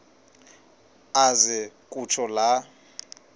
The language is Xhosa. aze kutsho la